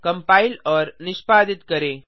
compile और निष्पादित करें